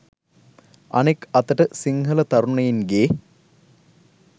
අනෙක් අතට සිංහල තරුණයින්ගේ